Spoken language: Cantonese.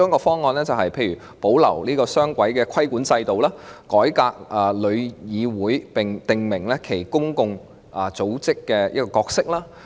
方案一，保留雙軌規管制度，改革香港旅遊業議會，並訂明其公共組織的角色。